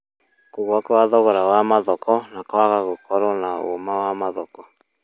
Kũgũa kwa thogora wa mathoko na kũaga gũkotwo na ũma wa mathoko